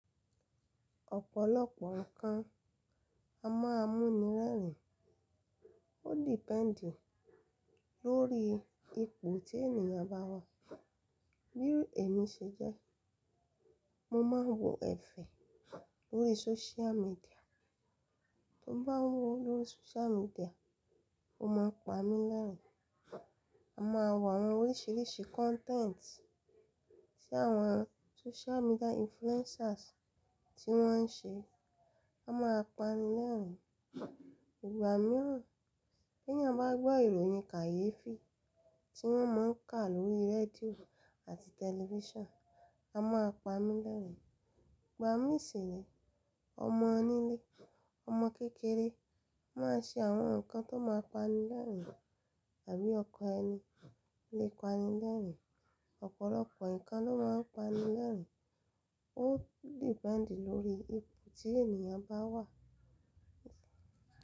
Ọ̀pọ̀lọpọ̀ nǹkan a máa mú ni rẹ́rìn-ín, ó depend lórí ipò tí ènìyàn bá wà. Bí èmi ṣe jẹ́, mo máa ń wo ẹ̀fẹ̀ lórí social media, bí mo bá ń wò ó lórí social media, ó máa ń pa mí lẹ́rìn-ín. Mo máa n wo àwọn oríṣiríṣi content tí àwọn social media influencers tí wọ́n ń ṣe, a máa pa ni lẹ́rìn-ín. Ìgbà mìíràn, tí ènìyàn bá gbọ́ ìròyìn kàyéfì tí wọ́n máa ń kà lórí rédíò àti tẹlifíṣàn, a máa pa á ni lẹ́rìn-ín. Ìgbà mìíràn ṣi rẹ, ọmọ onílé, ọmọ kékeré máa ṣe àwọn nǹkan tó máa pa ni lẹ́rìn-ín tàbí ọkọ̀ ẹni le pa ni lẹ́rìn-ín. Ọ̀pọ̀lọpọ̀ nǹkan ló máa ń pa ni lẹ́rìn-ín, ó depend lórí ipò tí ènìyàn bá wà.